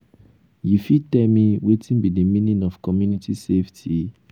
you fit tell me wetin be di meaning of community safety?